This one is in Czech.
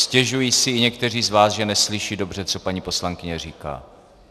Stěžují si i někteří z vás, že neslyší dobře, co paní poslankyně říká.